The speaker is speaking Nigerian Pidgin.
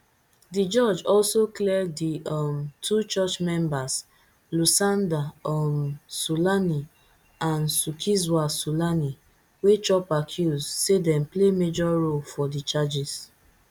di judge also clear di um two church members lusanda um sulani and zukiswa sulani wey chop accuse say dem play major role for di charges